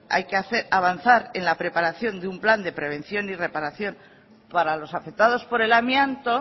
hay que avanzar en la preparación de un plan de prevención y reparación para los afectados por el amianto